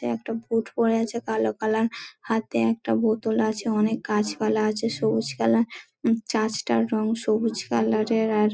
একটা বুট পরে আছে কালো কালার হাতে একটা বোতল আছে অনেক গাছপালা আছে সবুজ কালার চার্চ -টার রং সবুজ কালার -এর ।আর--